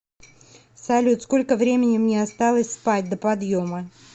салют сколько времени мне осталось спать до подъема